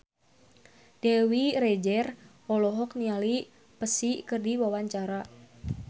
Dewi Rezer olohok ningali Psy keur diwawancara